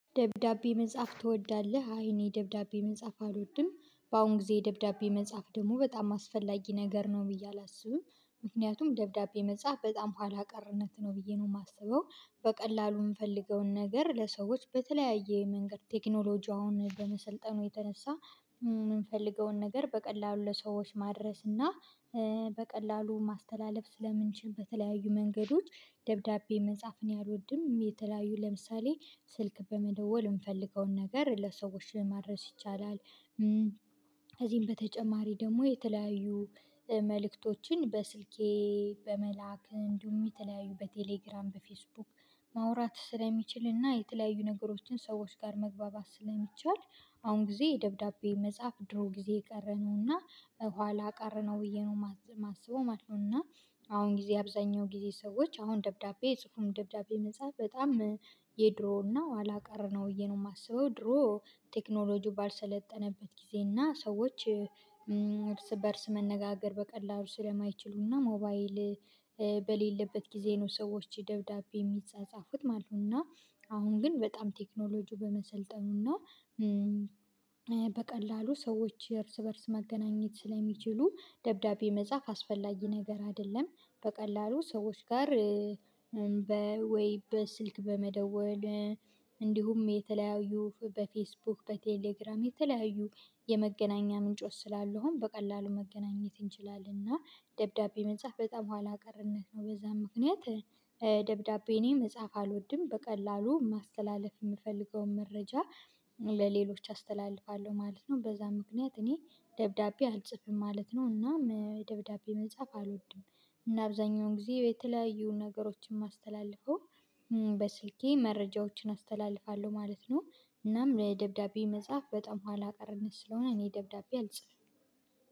ደብዳቤ መጻፍ ትወዳለህ? አይ እኔ ደብዳቤ መጻፍ አልወድም በአሁን ጊዜ ደብዳቤ መጻፍ ደግሞ በጣም አስፈላጊ ነገር ነው ብዬ አላስብም። ምክንያቱም ደብዳቤ መጻፍ በጣም ኋላ ቀርነት ነው ብዬ ነው የማስበው። በቀላሉ የምንፈልገውን ነገር ለሰዎች በተለያየ መንገድ ቴክኖሎጂው አሁን በመሰልጠኑ የተነሳ የምንፈልገውን ነገር በቀላሉ ለሰዎች ማድረስ እና በቀላሉ ማስተላለፍ ስለምንችል በተለያዩ መንገዶች። ደብዳቤ መጻፍ እኔ አልወድም። የተለያዩ ለምሳሌ ስልክ በመደወል የምፈልገውን ነገር ለሰዎች ማድረስ ይቻላል። ከዚህም በተጨማሪ ደግሞ የተለያዩ መልእክቶችን በስልኬ በመላክ እንዲሁ የተለያዩ በቴሌግራም በፌስቡክ ማውራት ስለሚችልና የተለያዩ ነገሮችን ሰዎች ጋር መግባባት ስለሚቻል። አሁን ጊዜ የደብዳቤ መጻፍ ድሮ ጊዜ የቀረነውና ኋላ ቀር ነው ብዬ ነው የማስበው ማለት ነውና። አሁን ጊዜ አብዛኛው ጊዜ ሰዎች አሁን ደብዳቤ ጽሁፍም ደብዳቤ መጻፍ በጣም የድሮ ነው ኋላ ቀር ነው ብዬ ነው የማስበው። ድሮ ቴክኖሎጂው ባልሰለጠነበት ጊዜ እና ሰዎች እርስ በእርስ መነጋገር በቀላሉ ስለማይችሉና ሞባይል በሌለበት ጊዜ ነው ሰዎች ደብዳቤ የሚጻጻፉት ማለት ነው። እና አሁን ግን በጣም ቴክኖሎጂው በመሰልጠኑ እና በቀላሉ ሰዎች የእርስ በእርስ መገናኘት ስለሚችሉ ደብዳቤ መጻፍ አስፈላጊ ነገር አይደለም። በቀላሉ ሰዎች ጋር በወይ በስልክ በመደወል እንዲሁም የተለያዩ በፌስቡክ በቴሌግራም የተለያዩ የመገናኛ ምንጮች ስላለው ነው በቀላሉ መገናኘት እንችላለን። እና ደብዳቤ መጻፍ በጣም ኋላ ቀርነት ነው በዛም ምክንያት ደብዳቤ እኔ መጻፍ አልወድም። በቀላሉ ማስተላለፍ የምፈልገውን መረጃ ለሌሎች አስተላልፋለሁ ማለት ነው በዛ ምክንያት እኔ ደብዳቤ አልጽፍም ማለት ነው። እና ደብዳቤ መጻፍ አልወድም። እና አብዛኛውን ጊዜ የተለያዩ ነገሮችን ማስተላልፈው በስልኬ መረጃዎችን አስተላልፋለሁ ማለት ነው። እናም ለደብዳቤ መጽሐፍ በጣም ኋላ ቀረነት ስለሆነ እኔ ደብዳቤ አልጽፍም።